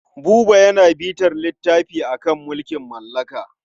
Buba yana bitar littafi a kan mulkin mallaka.